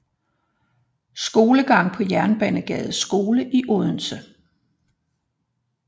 Skolegang på Jernbanegades Skole i Odense